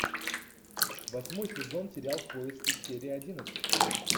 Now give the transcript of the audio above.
восьмой сезон сериал в поиске серия одиннадцать